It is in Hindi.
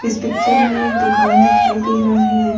इस पिक्चर में एक दूकान दिखाई दे रहा है ।